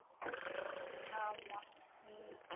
ஆஹ் ஆமா உம்